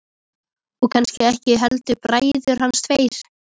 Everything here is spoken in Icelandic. Og kannski ekki heldur bræður hans tveir.